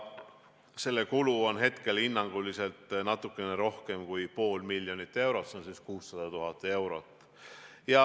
Selle kulu on hinnanguliselt natukene rohkem kui pool miljonit eurot, s.o 600 000 eurot.